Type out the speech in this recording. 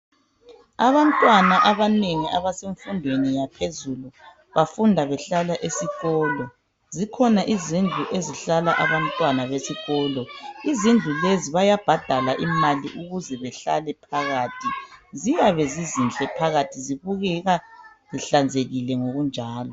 Abantwana abanengi abasemfundweni yaphezulu. Bafunda behlala esikolo. Zikhona izindlu ezihlala abantwana besikolo. Izindlu lezi bayabhadala imali ukuze behlale phakathi. Ziyabe zizinhle phakathi zibukeka zihlanzekile ngokunjalo.